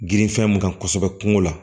Girin fɛn mun kan kosɛbɛ kungo la